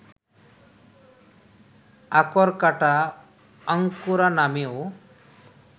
আকরকাঁটা, আঙ্কুরা নামেও